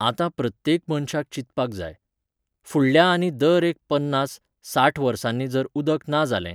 आतां प्रत्येक मनशान चिंतपाक जाय. फुडल्या आनी दर एक पन्नास, साठ वर्सांनी जर उदक ना जालें!